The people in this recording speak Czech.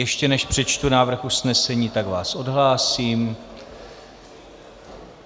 Ještě než přečtu návrh usnesení, tak vás odhlásím.